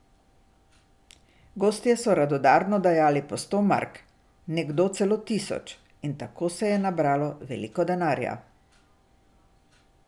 Gostje so radodarno dajali po sto mark, nekdo celo tisoč, in tako se je nabralo veliko denarja.